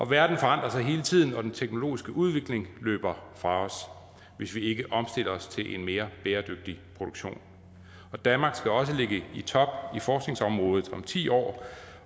verden forandrer sig hele tiden og den teknologiske udvikling løber fra os hvis vi ikke omstiller os til en mere bæredygtig produktion og danmark skal også ligge i top på forskningsområdet om ti år